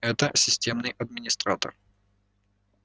это системный администратор